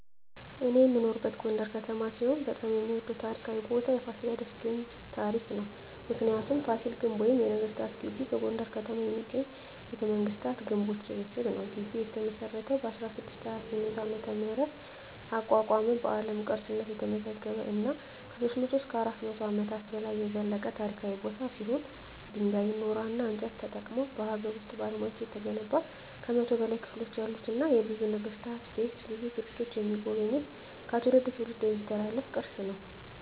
እኔ የምኖርበት ጎንደር ከተማ ሲሆን በጣም የምወደው ታሪካዊ ቦታ የፋሲለደስ ግንብ ታሪክ ነው። ምክንያቱ : ፋሲል ግንብ ወይም ነገስታት ግቢ በጎንደር ከተማ የሚገኝ የቤተመንግስታት ግንቦች ስብስብ ነው። ግቢው የተመሰረተው በ1628 ዓ.ም አቋቋመ በአለም ቅርስነት የተመዘገበ እና ከ300-400 አመታት በላይ የዘለቀ ታሪካዊ ቦታ ሲሆን ድንጋይ ,ኖራና እንጨት ተጠቅመው በሀገር ውስጥ ባለሙያዎች የተገነባ ከ100 በላይ ክፍሎች ያሉትና የብዙ ነገስታት ቤት ብዙ ቱሪስቶች የሚጎበኙት ከትውልድ ትውልድ የሚተላለፍ ቅርስ ነው።